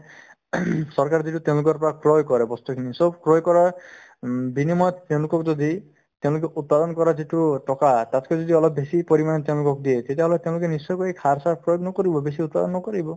ing চৰকাৰে যিটো তেওঁলোকৰ পৰা ক্ৰয় কৰে বস্তুখিনি চব ক্ৰয় কৰাৰ উম বিনিময়ত তেওঁলোকক যদি তেওঁলোকে উৎপাদন কৰা যিটো টকা তাতকৈ যদি বেছি পৰিমাণে তেওঁলোকক দিয়ে তেতিয়াহ'লে তেওঁলোকে নিশ্চয়কৈ এই সাৰ চাৰ প্ৰয়োগ নকৰি বেছি উৎপাদন নকৰিব